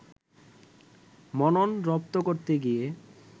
মনন রপ্ত করতে গিয়ে